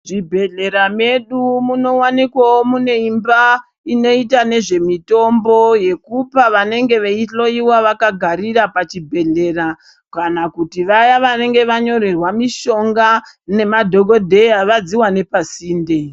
Muzvibhehlera mwedu munowanikwawo mune imba inoita nezvemutombo yekupa vanenge veihloiwa vakagarira pachibhehlera kana kuti vaya vanenge vanyorerwa mushonga namadhokodheya vadziwane pasinde.